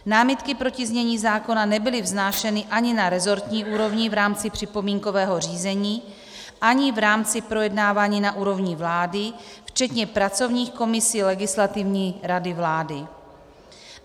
Námitky proti znění zákona nebyly vznášeny ani na resortní úrovni v rámci připomínkového řízení, ani v rámci projednávání na úrovni vlády, včetně pracovních komisí Legislativní rady vlády.